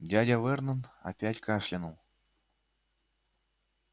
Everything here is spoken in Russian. дядя вернон опять кашлянул